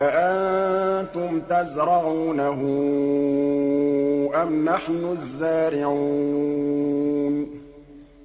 أَأَنتُمْ تَزْرَعُونَهُ أَمْ نَحْنُ الزَّارِعُونَ